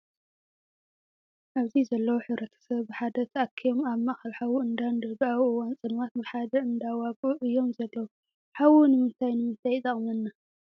ኣብዚ ዘለው ሕብረተሰብ ብሓደ ተኣኪቦ ኣብ ማእከል ሓዊ እንዳደዱ ኣብ እዋን ፀልማት ብሓደ እንዳዋግኡ እዮም ዘለው። ሓዊ ንምንታይ ንምንታይ ይጠቅመና ?